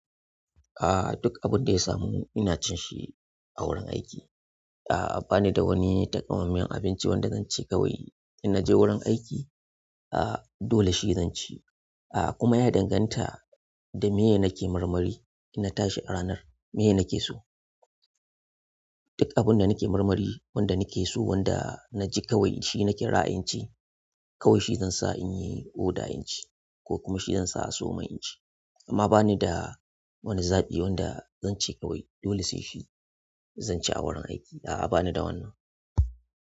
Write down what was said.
Aaa duk abun da ya samu ina cin shi a wurin aiki. A'a ba ni da wani takamaiman abinci wanda zan ce kawai in naje wurin aiki, a'a dole shi zan ci. A'a kuma ya danganta da meye nake marmari in na tashi a ranar, meye nake so. Duk abun da nake marmari, wanda nake so, wanda na ji kawai shi nake ra'ayin ci, kawai shi zan sa in yi oda in ci ko kuma shi zan sa a sawomin in ci. Amma ba ni da wani zaɓi wanda zan ce kawai dole sai shi zan ci a wurin aiki. A'a ba ni da wannan.